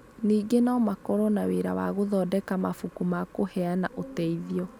Ningĩ no makorũo na wĩra wa gũthondeka mabuku ma kũheana ũteithio.